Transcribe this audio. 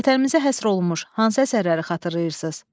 Vətənimizə həsr olunmuş hansı əsərləri xatırlayırsınız?